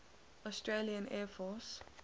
australian air force